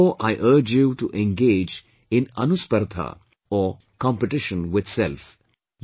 Therefore I urge you to engage in 'Anuspardha', or 'competition with self'